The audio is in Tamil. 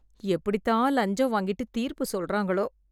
எப்படித்தான் லஞ்சம் வாங்கிட்டுத் தீர்ப்பு சொல்றங்களோ